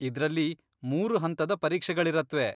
ಇದ್ರಲ್ಲಿ ಮೂರು ಹಂತದ ಪರೀಕ್ಷೆಗಳಿರತ್ವೆ.